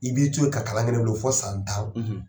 I b'i to yen ka kalan kɛ ne bolo fo san tan,